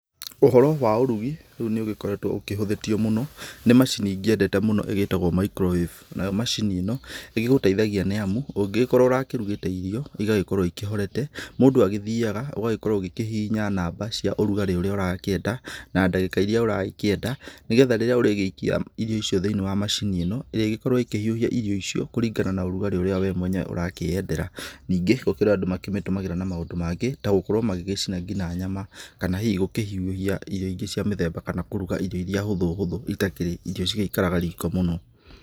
Ũhoro wa ũrugi rĩu nĩũgĩkoragwa ũkĩhuthĩtio mũno nĩ macini nyendete mũno ĩtagwo microwave, nayo macini ĩno nĩgũgũteithagia nĩamu ,ũngĩgĩkorwo ũrarugĩte irio ,igagĩkorwo ihorete, mũndũ agĩthiaga akahihinya namba cia ũrugarĩ na ndagĩka iria ũrakĩenda nĩgetha rĩrĩa ũragĩikia irio icio thĩinĩ wa macini ĩno ĩrĩgĩkorwa ĩkĩhiũhia irio icio kũringana na ũrugarĩ ũrĩa we mwenyewe ũrakĩendera ,ningĩ gũkirĩ andũ makĩmĩtũmagĩra na maũndũ mangĩ ta gũkorwo gũcina nginya nyama ,kana hihi gũkĩhiũhia irio ingĩ cia mĩthemba kana kũhiũhia irio iria hũthũ hũthũ itakĩrĩ irio ita ngĩkara riko mũno.